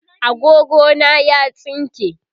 agogo na ya tsinke